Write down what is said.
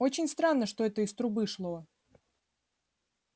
очень странно что это из трубы шло